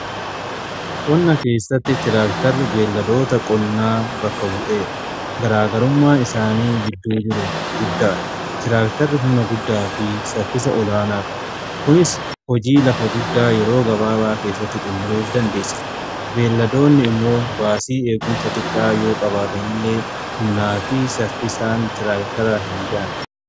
Qonna keessatti tiraaktarri beelladoota qonnaa bakka bu'eera. Garaagarummaa isaan gidduu jiru guddaadha. Tiraaktarri humna guddaa fi saffisa olaanaa qabu. Kunis hojii lafa guddaa yeroo gabaabaa keessatti xumuruuf dandeessisa. Beelladoonni immoo baasii eeguunsa xiqqaa yoo qabaatanillee humnaa fi saffisaan tiraaktaraa hin ga'ani.